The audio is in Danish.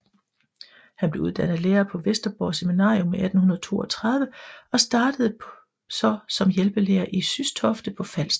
Han blev uddannet lærer på Vesterborg Seminarium i 1832 og startede så som hjælpelærer i Systofte på Falster